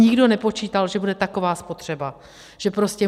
Nikdo nepočítal, že bude taková spotřeba, že prostě...